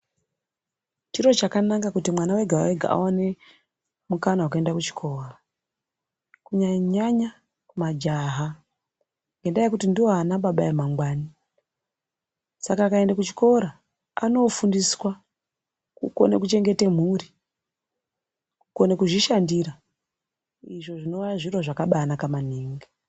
Chiro chakanaka kuti mwana wega wega awone mukana wekuenda kuchikora kunyanya nyanya kumajaha ngenda yekuti ndoana baba emangwani. Saka akaenda kuchikora anofundiswa kukona kuchengete mhuri, kukone kuzvishandira izvo zvinova zviro zvakabanaka maningi.